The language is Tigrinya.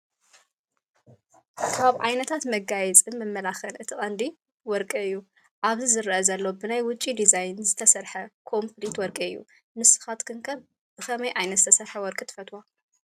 ካብ ዓይነታት መጋየፅን መመላኽዕን እቲ ቀንዲ ወርቂ እዩ፡፡ ኣብዚ ዝረአ ዘሎ ብናይ ውጭ ዲዛይን ዝተሰርሐ ኮምኘሊት ወርቂ እዩ፡፡ ንስኻትክን ከ ብኸመይ ዓይነት ዝተሰርሐ ወርቂ ትፈትዋ?